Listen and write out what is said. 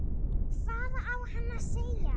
Hvað á hann að segja?